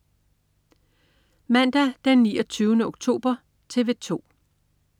Mandag den 29. oktober - TV 2: